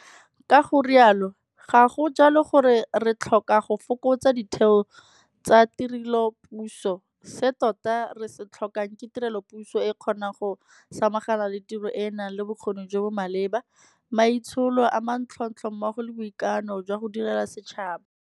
Ka go rialo, ga go jalo gore re tlhoka go fokotsa ditheo tsa tirelopuso, se tota re se tlhokang ke tirelopuso e e kgonang go samagana le tiro e e nang le bokgoni jo bo maleba, maitsholo a manontlhotlho mmogo le boikano jwa go direla setšhaba.